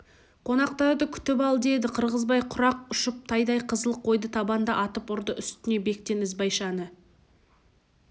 қонақтарды күтіп ал деді қырғызбай құрақ ұшып тайдай қызыл қойды табанда атып ұрды үстіне бектен ізбайшаны